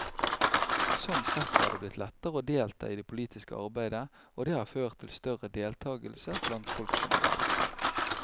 Sånn sett er det blitt lettere å delta i det politiske arbeidet, og det har ført til større deltagelse blant folk generelt.